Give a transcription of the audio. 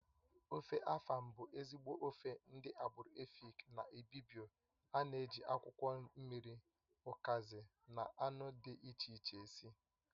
Ofe afàn bụ ezigbo ofe ndị agbụrụ Èfik na Ị́bịbio ana-eji akwụkwọ mmiri, ukazi na anụ dị iche iche esi